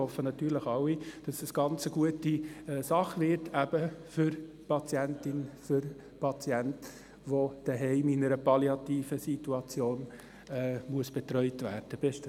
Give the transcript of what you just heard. Wir hoffen natürlich alle, dass es eine ganz gute Sache wird – eben für die Patientin, für den Patienten, die oder der zu Hause in einer palliativen Situation betreut werden muss.